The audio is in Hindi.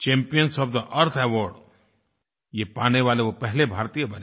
champions of the earth award ये पाने वाले वो पहले भारतीय बने